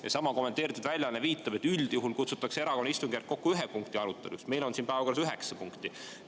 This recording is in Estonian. Seesama kommenteeritud väljaanne viitab, et üldjuhul kutsutakse erakorraline istungjärk kokku ühe punkti aruteluks, aga meil on siin päevakorras üheksa punkti.